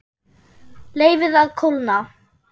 Leyfið að kólna.